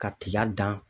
Ka tiga dan